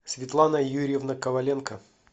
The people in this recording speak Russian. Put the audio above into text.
светлана юрьевна коваленко